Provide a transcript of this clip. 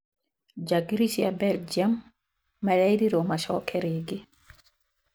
Njangiri cia belgium marerirwo macoke rĩngĩ